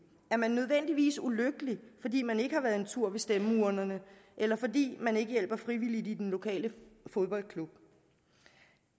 er man nødvendigvis ulykkelig fordi man ikke har været en tur ved stemmeurnerne eller fordi man ikke hjælper frivilligt i den lokale fodboldklub